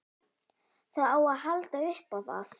Það á að halda upp á það.